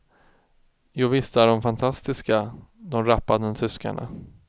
Jovisst är de fantastiska, de rappande tyskarna.